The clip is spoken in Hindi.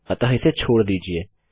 अतः इसे छोड़ दीजिये